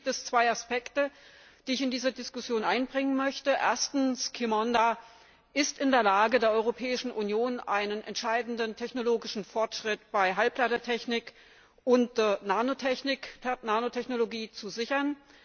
Für mich gibt es zwei Aspekte, die ich in diese Diskussion einbringen möchte Erstens ist Qimonda in der Lage, der Europäischen Union einen entscheidenden technologischen Fortschritt bei Halbleitertechnik und Nanotechnologie zu sichern.